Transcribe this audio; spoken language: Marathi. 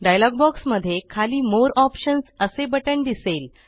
डायलॉग बॉक्समध्ये खाली मोरे ऑप्शन्स असे बटण दिसेल